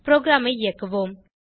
ப்ரோகிராமை இயக்குவோம்